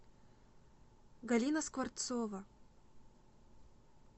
галина скворцова